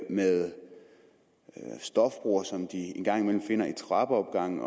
med stofbrugere som de en gang imellem finder i trappeopgange